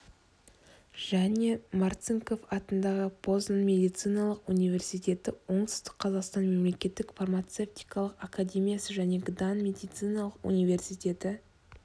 және марцинков атындағы познан медициналық университеті оңтүстік қазақстан мемлекеттік фармацевтикалық академиясы және гдан медициналық университеті